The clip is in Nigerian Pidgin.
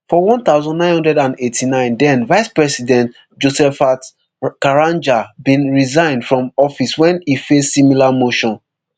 for one thousand, nine hundred and eighty-nine then vicepresident josephat karanja bin resign from office wen e face similar motion